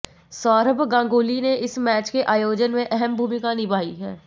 सौरभ गांगुली ने इस मैच के आयोजन में अहम भूमिका निभाई है